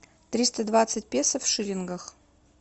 триста двадцать песо в шиллингах